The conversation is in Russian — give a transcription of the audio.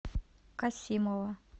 касимова